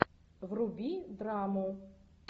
вруби драму